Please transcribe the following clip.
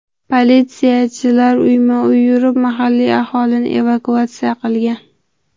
Politsiyachilar uyma-uy yurib mahalliy aholini evakuatsiya qilgan.